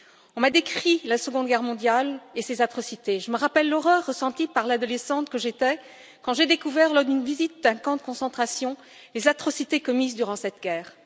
On m'a décrit la Seconde Guerre mondiale et ses atrocités. Je me rappelle l'horreur ressentie par l'adolescente que j'étais quand j'ai découvert, lors d'une visite d'un camp de concentration, les atrocités commises durant cette guerre.